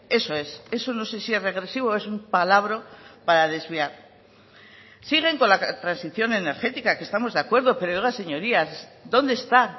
eso es eso no sé si es regresivo o es un palabro para desviar siguen con la transición energética que estamos de acuerdo pero oiga señorías dónde está